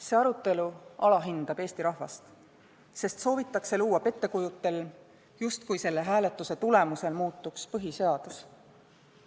See arutelu alahindab Eesti rahvast, sest soovitakse luua pettekujutelm, justkui selle hääletuse tulemusena põhiseadus muutuks.